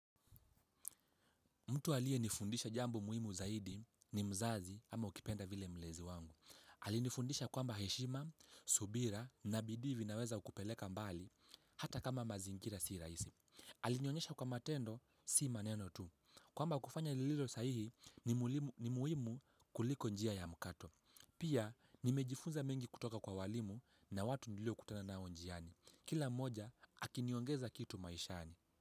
Mtu aliye nifundisha jambo muhimu zaidi ni mzazi ama ukipenda vile mlezi wangu. Alinifundisha kwamba heshima, subira na bidii vinaweza kukupeleka mbali, hata kama mazingira si rahisi. Alinionyesha kuwa mate ndo, si maneno tu. Kwamba kufanya lililo sahihi ni muhimu kuliko njia ya mkato. Pia nimejifunza mengi kutoka kwa walimu na watu niliokutana nao njiani. Kila moja akiniongeza kitu maishani.